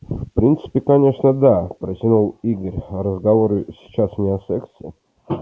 ну в принципе конечно да протянул игорь разговор сейчас не о сексе